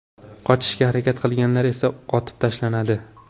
Qochishga harakat qilganlar esa otib tashlanadi.